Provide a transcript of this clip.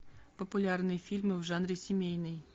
популярные фильмы в жанре семейный